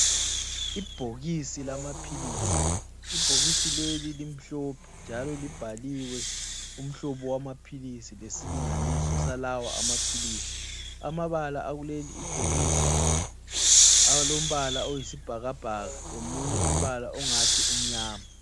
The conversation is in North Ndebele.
Ibhokisi lamaphilisi, ibhokisi leli limhlophe njalo libhaliwe umhlobo wamaphilisi lesilinganiso salawo amaphilisi amabala akuleli bhokisi alombala oyisibhakabhaka lomunye umbala ongathi umnyama.